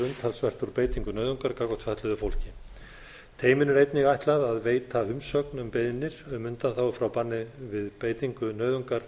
umtalsvert úr beitingu nauðungar gagnvart fötluðu fólki teyminu er einnig ætla að veita umsögn um beiðnir um undanþágu frá banni við beitingu nauðungar